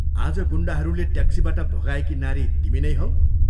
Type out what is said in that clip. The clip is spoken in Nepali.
" आज गुण्डाहरूले ट्याक्सीबाट भगाइएकी नारी तिमी नै हौ?